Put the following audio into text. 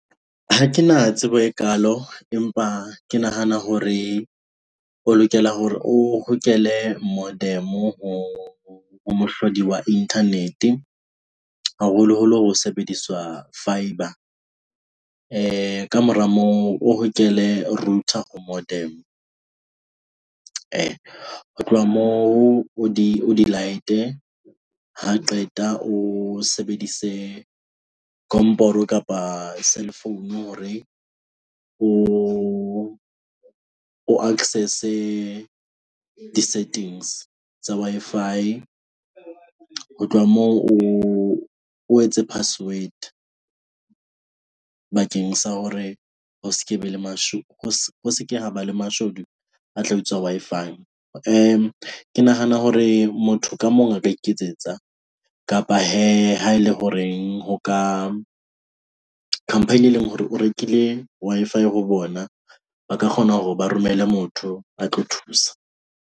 Ha ke na tsebo e kaalo empa ke nahana hore o lokela hore o hokele moderm ho mohlodi wa internet. Haholoholo ho sebediswa fibre kamora moo o hokele router ho modem ee. Ho tloha moo o di o di light-e ha qeta o sebedise komporo kapa cell phone hore o access-e di-settings tsa Wi-Fi. Ho tloha moo o, o etse password bakeng sa hore ho skebe le o se se ke haba le mashodu a tla utswa Wi-Fi. Ke nahana hore motho ka mong a ka iketsetsa kapa hee, ha e le ho reng ho ka company e leng hore o rekile Wi-Fi ho bona ba ka kgona hore ba romele motho a tlo thusa.